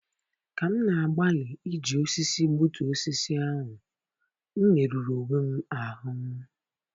Ka m na-agbalị iji osisi gbutu osisi ahụ, m merụrụ onwe m ahụ́.